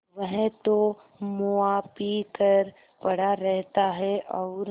वह तो मुआ पी कर पड़ा रहता है और